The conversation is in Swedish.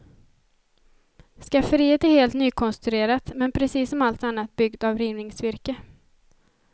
Skafferiet är helt nykonstruerat, men precis som allt annat byggt av rivningsvirke.